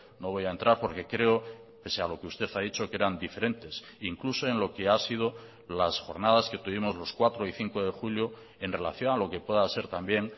no voy a entrar porque creo pese a lo que usted ha dicho que eran diferentes incluso en lo que ha sido las jornadas que tuvimos los cuatro y cinco de julio en relación a lo que pueda ser también